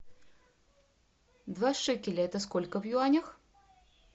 два шекеля это сколько в юанях